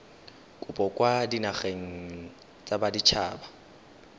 kopo kwa dinageng tsa baditshaba